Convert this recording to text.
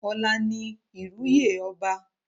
Ọ̀la ni ìrú yè ọba.